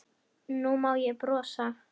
Nú má ég brosa.